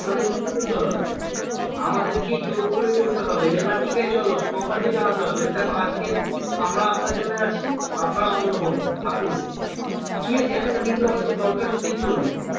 আমাদেরকে বেরোতে হবে আমাদেরকেই জোর করে বেরোতে হবে যে না ঠিক আছে চলো company কে জানাতে হবে যে দেখো আজকে আমরা আপনার জন্য আছি আপনারা আমাদের জন্য হোন থাকুন কি আছে একটা দিন আমাদের দরকার ছুটির জন্য